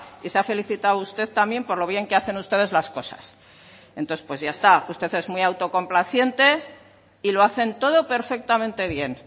y se ha felicitado usted también por lo bien que hacen ustedes las cosas entonces pues ya está usted es muy autocomplaciente y lo hacen todo perfectamente bien